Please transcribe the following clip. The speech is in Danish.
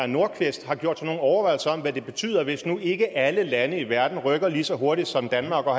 nordqvist har gjort sig nogen overvejelser om hvad det betyder hvis nu ikke alle lande i verden rykker lige så hurtigt som danmark og